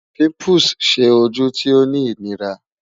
Pimples ṣe oju ti o ni inira